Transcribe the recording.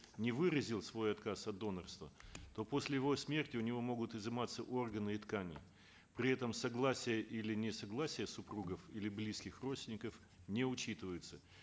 не выразил свой отказ от донорства то после его смерти у него могут изыматься органы и ткани при этом согласие или несогласие супругов или близких родственников не учитываются